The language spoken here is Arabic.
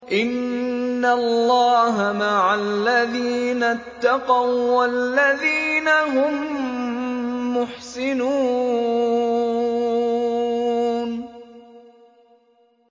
إِنَّ اللَّهَ مَعَ الَّذِينَ اتَّقَوا وَّالَّذِينَ هُم مُّحْسِنُونَ